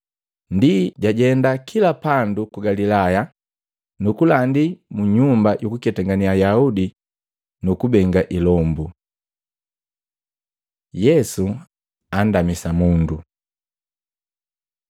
Ndi jajenda kila pandu ku Galilaya nukulandi mu nyumba yukuketangane Ayaudi nu kubenga ilombu. Yesu andamisa mundu Matei 8:1-4; Luka 5:12-16